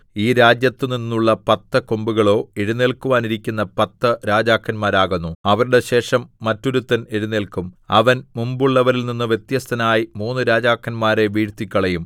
ഈ രാജ്യത്തുനിന്നുള്ള പത്ത് കൊമ്പുകളോ എഴുന്നേല്ക്കുവാനിരിക്കുന്ന പത്ത് രാജാക്കന്മാരാകുന്നു അവരുടെ ശേഷം മറ്റൊരുത്തൻ എഴുന്നേല്ക്കും അവൻ മുമ്പുള്ളവരിൽനിന്ന് വ്യത്യസ്തനായി മൂന്ന് രാജാക്കന്മാരെ വീഴ്ത്തിക്കളയും